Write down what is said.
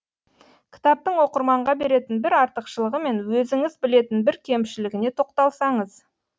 кітаптың оқырманға беретін бір артықшылығы мен өзіңіз білетін бір кемшілігіне тоқталсаңыз